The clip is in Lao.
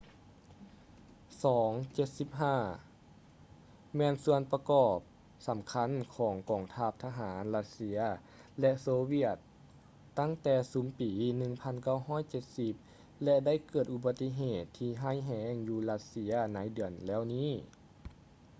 il-76 ແມ່ນສ່ວນປະກອບສໍາຄັນຂອງທັງກອງທະຫານຣັດເຊຍ ແລະ ໂຊວຽດຕັ້ງແຕ່ຊຸມປີ 1970 ແລະ ໄດ້ເກີດອຸບັດຕິເຫດທີ່ຮ້າຍແຮງຢູ່ຣັດເຊຍໃນເດືອນແລ້ວນີ້